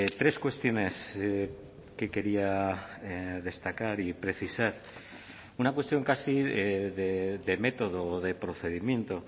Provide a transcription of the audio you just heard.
tres cuestiones que quería destacar y precisar una cuestión casi de método o de procedimiento